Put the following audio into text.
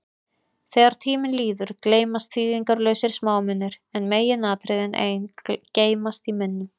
Þegar tími líður, gleymast þýðingarlausir smámunir, en meginatriðin ein geymast í minnum.